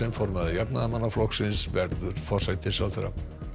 formaður Jafnaðarmannaflokksins verður forsætisráðherra